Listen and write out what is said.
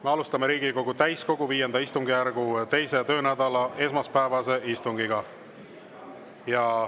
Me alustame Riigikogu täiskogu V istungjärgu 2. töönädala esmaspäevast istungit.